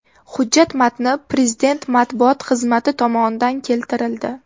Hujjat matni Prezident matbuot xizmati tomonidan keltirildi .